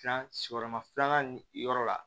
Tilan sigiyɔrɔma filanan yɔrɔ la